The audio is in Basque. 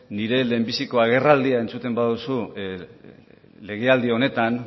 nire lehenbiziko agerraldia entzuten baduzu lege aldi honetan